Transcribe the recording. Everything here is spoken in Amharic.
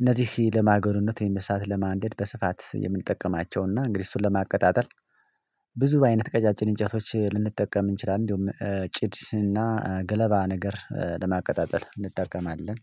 እነዚህ ለማጎደነት እሳት ለማንደድ በስፋት የምንጠቀማቸውና እንግዲህ እሱን ለማቀጣጠል ብዙ አይነት ቀጫጭን እንጨቶች ልንጠቀም እንችላለን። እንዲሁም ጭድና ገለባ ነገር ለማቀጣጠል እንጠቀማለን።